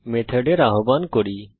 এই মেথডের আহবান করি